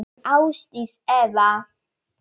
Þín Ásdís Eva.